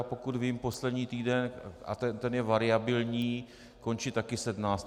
A pokud vím, poslední týden, a ten je variabilní, končí také 17. července.